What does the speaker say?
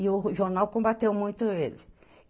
E o jornal combateu muito ele.